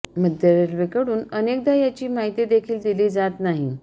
मध्य रेल्वेकडून अनेकदा याची माहिती देखील दिली जात नाही